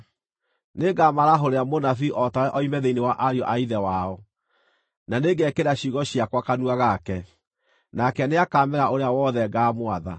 Nĩngamarahũrĩra mũnabii o tawe oime thĩinĩ wa ariũ a ithe wao; na nĩngekĩra ciugo ciakwa kanua gake, nake nĩakameera ũrĩa wothe ngaamwatha.